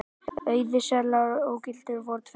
Auðir seðlar og ógildir voru tveir